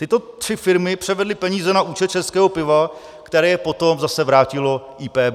Tyto tři firmy převedly peníze na účet Českého piva, které je potom zase vrátilo IPB.